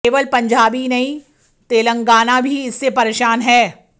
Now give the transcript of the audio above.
केवल पंजाब ही नहीं तेलंगाना भी इससे परेशान है